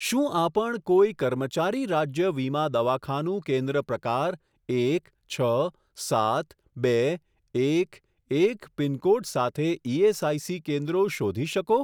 શું આપણ કોઈ કર્મચારી રાજ્ય વીમા દવાખાનું કેન્દ્ર પ્રકાર એક છ સાત બે એક એક પિનકોડ સાથે ઇએસઆઇસી કેન્દ્રો શોધી શકો?